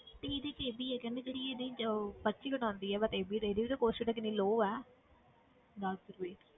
ਤੇ ਇਹਦੇ 'ਚ ਇਹ ਵੀ ਹੈ ਕਹਿੰਦੇ ਜਿਹੜੀ ਇਹਦੇ 'ਚ ਪਰਚੀ ਕੱਟ ਹੁੰਦੀ ਹੈ but ਦੇਖਦੀ cost ਕਿੰਨੀ low ਹੈ ਦਸ ਰੁਪਏ।।